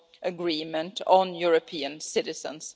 agreements, on European citizens.